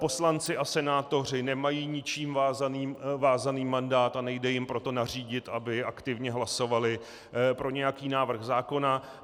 Poslanci a senátoři nemají ničím vázaný mandát, a nejde jim proto nařídit, aby aktivně hlasovali pro nějaký návrh zákona.